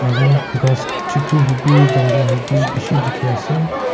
aru ghas chutu hobi dangor hobi bishi dikhiase.